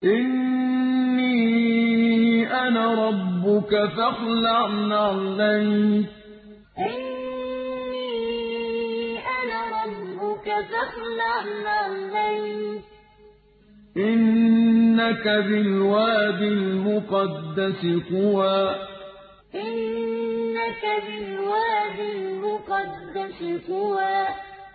إِنِّي أَنَا رَبُّكَ فَاخْلَعْ نَعْلَيْكَ ۖ إِنَّكَ بِالْوَادِ الْمُقَدَّسِ طُوًى إِنِّي أَنَا رَبُّكَ فَاخْلَعْ نَعْلَيْكَ ۖ إِنَّكَ بِالْوَادِ الْمُقَدَّسِ طُوًى